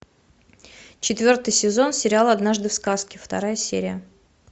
четвертый сезон сериал однажды в сказке вторая серия